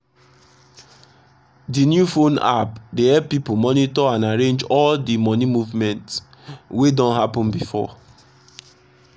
d new phone app dey elp pipu monitor and arrange all d moni movement wey don happen before